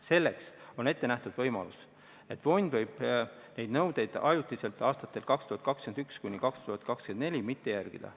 Selleks on ette nähtud võimalus, et fond võib neid nõudeid ajutiselt, aastatel 2021–2024, mitte järgida.